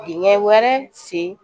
Dingɛ wɛrɛ sen